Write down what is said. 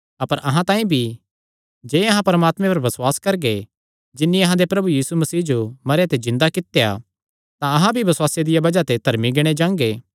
अपर अहां तांई भी जे अहां परमात्मे च बसुआस करगे जिन्नी अहां दे प्रभु यीशुये जो मरेयां ते जिन्दा कित्या तां अहां भी बसुआसे दिया बज़ाह ते धर्मी गिणे जांगे